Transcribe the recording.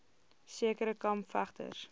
sekere kamp vegters